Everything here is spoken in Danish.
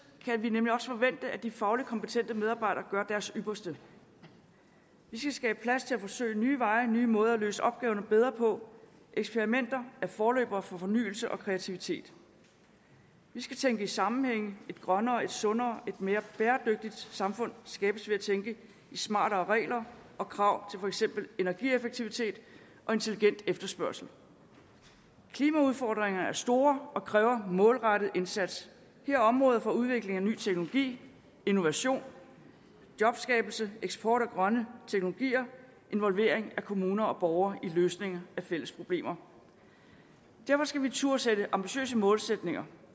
kan vi nemlig også forvente at de faglig kompetente medarbejdere gør deres ypperste vi skal skabe plads til at forsøge nye veje og nye måder at løse opgaverne bedre på eksperimenter er forløbere for fornyelse og kreativitet vi skal tænke i sammenhænge et grønnere et sundere og et mere bæredygtigt samfund skabes ved at tænke i smartere regler og krav til for eksempel energieffektivitet og intelligent efterspørgsel klimaudfordringer er store og kræver målrettet indsats det er områder for udvikling af ny teknologi innovation jobskabelse eksport af grønne teknologier involvering af kommuner og borgere i løsninger af fælles problemer derfor skal vi turde sætte ambitiøse målsætninger